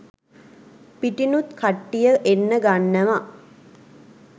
පිටිනුත් කට්ටිය එන්න ගන්නව.